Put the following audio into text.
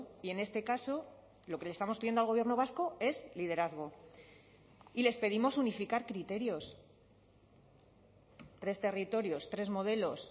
y en este caso lo que le estamos pidiendo al gobierno vasco es liderazgo y les pedimos unificar criterios tres territorios tres modelos